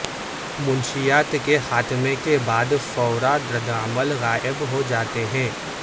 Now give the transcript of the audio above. منشیات کے خاتمے کے بعد فورا ردعمل غائب ہو جاتے ہیں